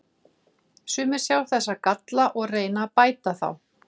Sumir sjá þessa galla og reyna að bæta þá.